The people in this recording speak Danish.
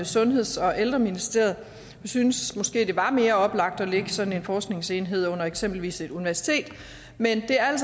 sundheds og ældreministeriet vi synes måske det var mere oplagt at lægge sådan en forskningsenhed under eksempelvis et universitet men det er